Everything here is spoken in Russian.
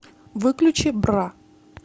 выключи бра